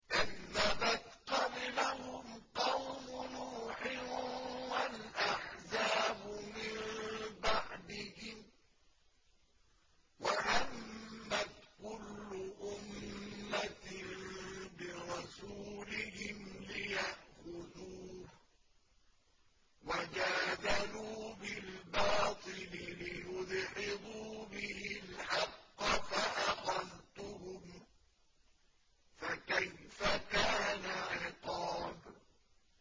كَذَّبَتْ قَبْلَهُمْ قَوْمُ نُوحٍ وَالْأَحْزَابُ مِن بَعْدِهِمْ ۖ وَهَمَّتْ كُلُّ أُمَّةٍ بِرَسُولِهِمْ لِيَأْخُذُوهُ ۖ وَجَادَلُوا بِالْبَاطِلِ لِيُدْحِضُوا بِهِ الْحَقَّ فَأَخَذْتُهُمْ ۖ فَكَيْفَ كَانَ عِقَابِ